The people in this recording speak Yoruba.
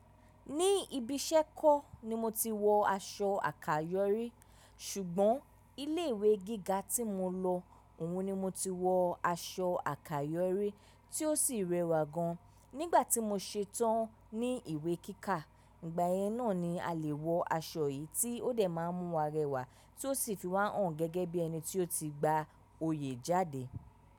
Ní ibi iṣẹ́ kọ́ ni mo ti wọ aṣọ àkayọ̀rí, ṣùgbọ́n ilé ìwé gíga tí mo lọ òun ni mo ti wọ aṣọ àkayọ̀rí tí ó sì rẹwà gan. Nígbà tí mo ṣe tán ní ìwé kíkà, ìgbà yẹn náà ni a lè wọ aṣọ yìí tí ó dẹ̀ má a mú wa rẹwà tí ó sì fi wá hàn gẹ́gẹ́ bí ẹni tí ó ti gba oyè jáde.